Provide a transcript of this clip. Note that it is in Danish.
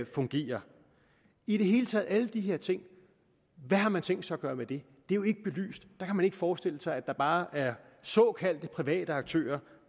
fungerer i det hele taget alle de her ting hvad har man tænkt sig gøre ved det det er jo ikke belyst der kan man ikke forestille sig at der bare er såkaldte private aktører